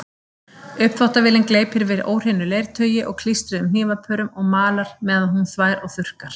Uppþvottavélin gleypir við óhreinu leirtaui og klístruðum hnífapörum og malar meðan hún þvær og þurrkar.